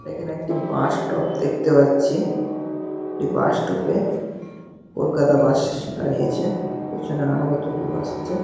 দে এইখানে একটি bus stop দেখতে পাচ্ছি। এই বাস স্টপ -এ কলকাতা বাস -স দাঁড়িয়েছে। পেছনে আরও কতগুলি বাস আছে।